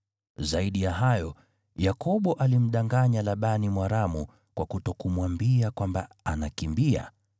Zaidi ya hayo, Yakobo alimdanganya Labani Mwaramu kwa kutokumwambia kwamba anakimbia.